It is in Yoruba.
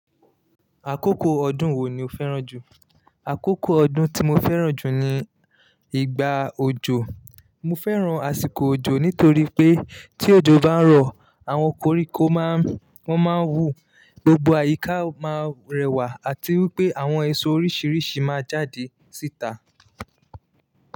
Àkókò ọdún wo ni o fẹ́ràn jù? Àkókò ọdún tí mo fẹ́ràn jù ni ìgbà òjò. Mo fẹ́ràn àsìkò òjò nítorí pé tí òjò bá ń rọ̀, àwọn koríko máa ń, wọ́n máa ń wù, gbogbo àyíká máa rẹwà àti wípé àwọn èso oríṣiríṣi máa jáde síta.